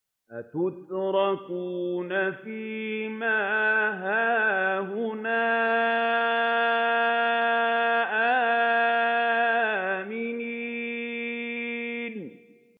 أَتُتْرَكُونَ فِي مَا هَاهُنَا آمِنِينَ